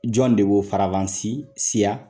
Jɔn de b'o farafansi siya ?